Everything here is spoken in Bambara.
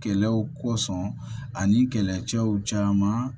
Kɛlɛw kosɔn ani kɛlɛcɛw caman